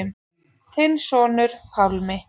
Þinn sonur, Pálmi.